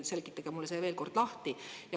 Selgitage mulle see veel kord lahti.